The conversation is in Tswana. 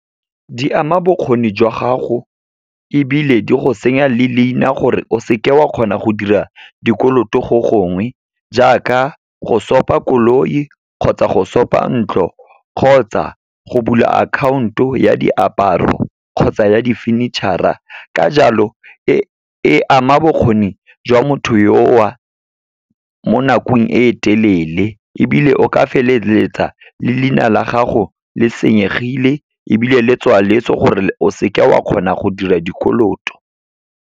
Di ama bokgoni jwa gago, ebile di go senya le leina gore o seke wa kgona go dira dikoloto go gongwe, jaaka go sopa koloi, kgotsa go sopa ntlo, kgotsa go bula akhaonto ya diaparo kgotsa ya di furniture-a. Ka jalo, e ama bokgoni jwa motho yo a mo nakong e telele, ebile o ka feleletsa le leina la gago le senyegile ebile le tswaletswe, gore o seke wa kgona go dira dikoloto.